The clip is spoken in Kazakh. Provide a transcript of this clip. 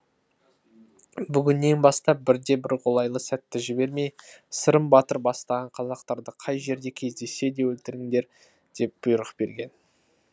бүгіннен бастап бірде бір қолайлы сәтті жібермей сырым батыр бастаған қазақтарды қай жерде кездессе де өлтіріңдер деп бұйрық берген